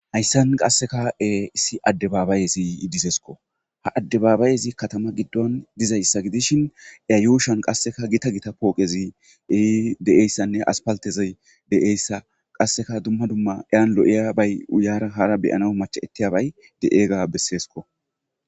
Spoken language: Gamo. Hayssan qasseka e issi adde baabayezi idizeesko ha addebaabayezi katama giddon dizayssa gidishin eyayuushan qasseka gita gita pooqezi ei de7eyssanne aspaltezey de7eyssa qasseka dumma dumma iyan lo7iya bay uyaara hara beyana macha ettiyabay de7eega besseesko.